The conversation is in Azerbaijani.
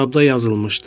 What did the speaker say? Kitabda yazılmışdı: